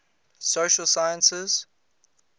social sciences